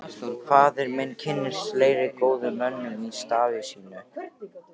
Faðir minn kynntist fleiri góðum mönnum í starfi sínu.